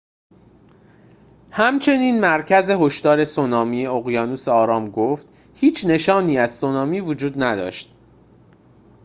همچنین مرکز هشدار سونامی اقیانوس آرام گفت هیچ نشانی از سونامی وجود نداشت